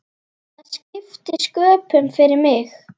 Það skipti sköpum fyrir mig.